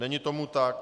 Není tomu tak.